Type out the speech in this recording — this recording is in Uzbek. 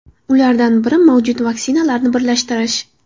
Ulardan biri mavjud vaksinalarni birlashtirish.